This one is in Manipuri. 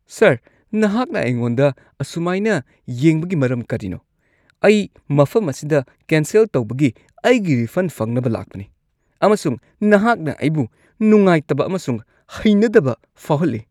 ꯁꯔ, ꯅꯍꯥꯛꯅ ꯑꯩꯉꯣꯟꯗ ꯑꯁꯨꯃꯥꯢꯅ ꯌꯦꯡꯕꯒꯤ ꯃꯔꯝ ꯀꯔꯤꯅꯣ? ꯑꯩ ꯃꯐꯝ ꯑꯁꯤꯗ ꯀꯦꯟꯁꯦꯜ ꯇꯧꯕꯒꯤ ꯑꯩꯒꯤ ꯔꯤꯐꯟ ꯐꯪꯅꯕ ꯂꯥꯛꯄꯅꯤ ꯑꯃꯁꯨꯡ ꯅꯍꯥꯛꯅ ꯑꯩꯕꯨ ꯅꯨꯡꯉꯥꯏꯇꯕ ꯑꯃꯁꯨꯡ ꯍꯩꯅꯗꯕ ꯐꯥꯎꯍꯜꯂꯤ ꯫